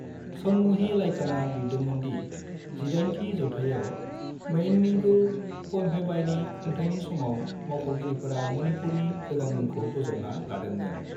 सनमही लाइकानआ लिरदोंमोन दि जिदाइनथि जौथायाव मेइडिंगु पम्हेइबानि खुंथायनि समाव मावख'गिरिफोरा मणिपुरनि गोदान मुंखौ बोजबना लादोंमोन।